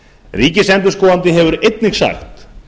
ríkisendurskoðandi hefur einnig sagt